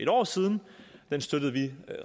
år siden den støttede vi